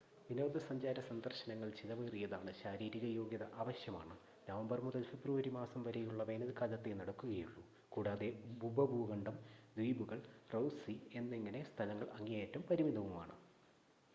വിനോദസഞ്ചാര സന്ദർശനങ്ങൾ ചിലവേറിയതാണ്, ശാരീരിക യോഗ്യത ആവശ്യമാണ്, നവംബർ മുതൽ ഫെബ്രുവരി മാസം വരെയുള്ള വേനൽക്കാലത്തേ നടക്കുകയുള്ളു കൂടാതെ ഉപഭൂഖണ്ഡം ദ്വീപുകൾ റോസ് സീ എന്നിങ്ങനെ സ്ഥലങ്ങൾ അങ്ങേയറ്റം പരിമിതവുമാണ്